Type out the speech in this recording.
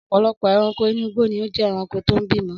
Ọ̀pọ̀lọpọ̀ ẹranko inú igbó ni ó jé ẹranko tó ń bímọ